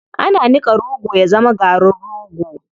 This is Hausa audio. Ana niƙa rogo ya zama garin rogo.